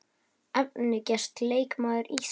Efnilegasti leikmaður Íslands?